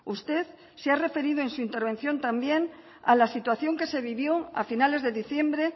usted se ha referido en su intervención también a la situación que se vivió a finales de diciembre